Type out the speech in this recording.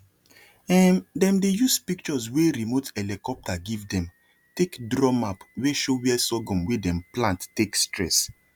um them dey use pictures wey remote helicopter give them take draw map wey show where sorghum wey dem plant take stress